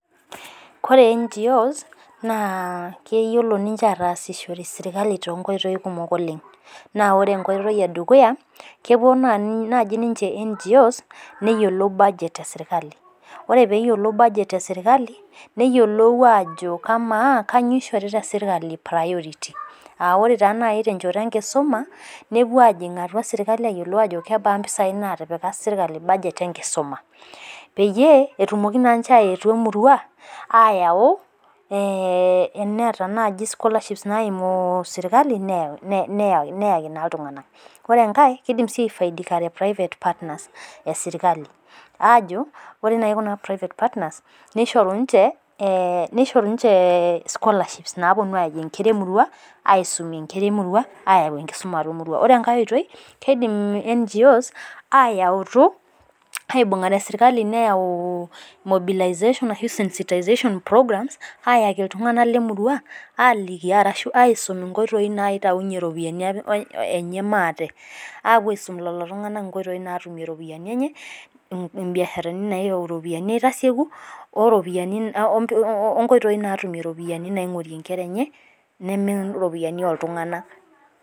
Koree NGOs naa keyiolo ninche ataasishore sirkali too nkoitoi kumok oleng. naa ore ene dukuya kepuo naaji nimche NGOs neyiolou budget esirkali ore pee eyiolou. neyiolou aajo amaa kainyioo ishorita sirkali priority aa ore taa naaji tenchoto enkisuma nepuo aayiolou ajo amaa sirkali kebaa mpisai naatipika sirkali budget enkisuma. peyie etumoki naa ninche aayetu emirua. aayau ena naaji scholarships naimi sirkali neyaki naa iltunganak. ore enkae kidim ai private partners esirkali. aajo ore naaji Kuna private partners nishori ninche scholarships naapuonu aaretie nkera emirua. aayau enkisuma atua emirua. ore enkae oitoi kidim aa